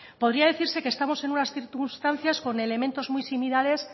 podría decirse que estamos en unas circunstancias con elementos muy similares